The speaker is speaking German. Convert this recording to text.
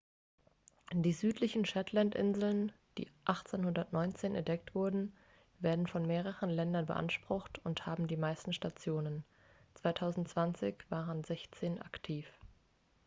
die südlichen shetlandinseln die 1819 entdeckt wurden werden von mehreren ländern beansprucht und haben die meisten stationen 2020 waren sechzehn aktiv